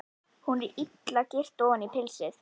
Hún er illa girt ofan í pilsið.